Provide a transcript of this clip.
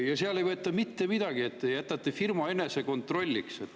Ja seal ei võeta mitte midagi ette, te jätate firma enese kontrollida.